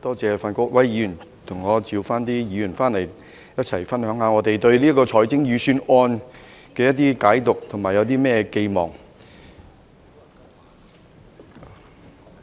多謝范國威議員替我傳召議員回來，一起分享我對這份財政預算案的解讀和寄望。